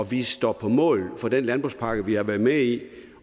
vi står på mål for den landbrugspakke vi har været med i